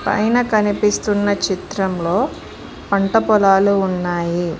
పైన కనిపిస్తున్న చిత్రంలో పంట పొలాలు ఉన్నాయి.